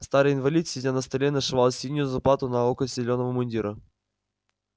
старый инвалид сидя на столе нашивал синюю заплату на локоть зелёного мундира